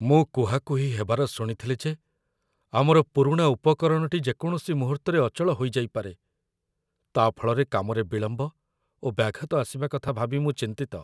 ମୁଁ କୁହାକୁହି ହେବାର ଶୁଣିଥିଲି ଯେ ଆମର ପୁରୁଣା ଉପକରଣଟି ଯେକୌଣସି ମୁହୂର୍ତ୍ତରେ ଅଚଳ ହୋଇଯାଇପାରେ। ତା' ଫଳରେ କାମରେ ବିଳମ୍ବ ଓ ବ୍ୟାଘାତ ଆସିବା କଥା ଭାବି ମୁଁ ଚିନ୍ତିତ।